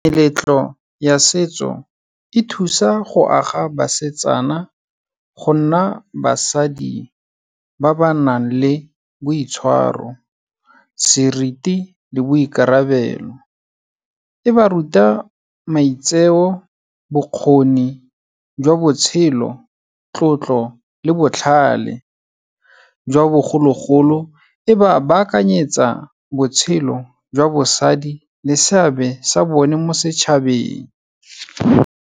Meletlo ya setso e thusa go aga basetsana go nna basadi ba ba nang le boitshwaro, seriti le boikarabelo. E ba ruta maitseo, bokgoni jwa botshelo, tlotlo le botlhale, jwa bogologolo. E ba baakanyetsa botshelo jwa bosadi le seabe sa bone mo setšhabeng.